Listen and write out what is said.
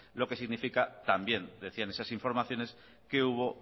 lo que significa también decían esas informaciones que hubo